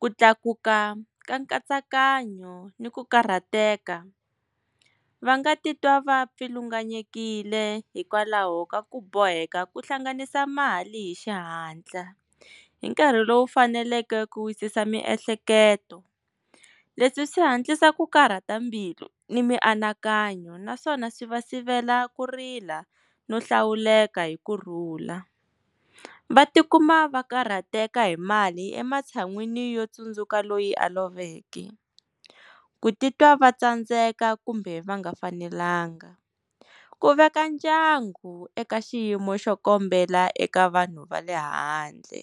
ku tlakuka ka nkatsakanyo ni ku karhateka va nga titwa va pfilunganyekile hikwalaho ka ku boheka ku hlanganisa mali hi xihatla hi nkarhi lowu faneleke ku wisisa miehleketo leswi swi hatlisa ku karhata mbilu ni mianakanyo naswona swi va sivela ku rila no hlawuleka hi ku rhula va tikuma va karhateka hi mali ematshan'wini yo tsundzuka loyi a loveke ku titwa va tsandzeka kumbe va nga fanelanga ku veka ndyangu eka xiyimo xo kombela eka vanhu va le handle.